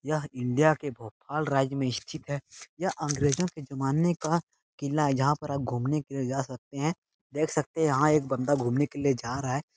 यह इंडिया के भोपाल राज्य में स्थित है यह अंग्रेजों के जमाने का किला है जहाँ पर आप घूमने के लिए जा सकते हैं देख सकते हैं यहाँ एक बंदा घूमने के लिए जा रहा है।